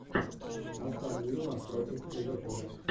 астон вилла против ливерпуля